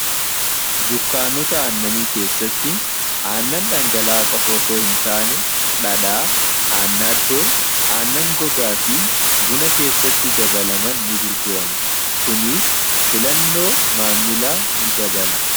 dukkaannota aannanii keessatti aannan dhangalaa qofosoo hin taane dhadhaa aanna addoo aannan gogaa fi buna keessatti dabalaman ni gurgurama kuniis filannoo maammilaa ni dabalan